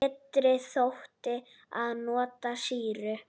Betra þótti að nota sýru.